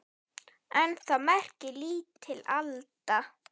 En það merkir lítil alda.